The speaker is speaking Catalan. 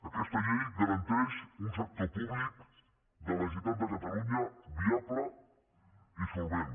aquesta llei garanteix un sector públic de la generalitat de catalunya viable i solvent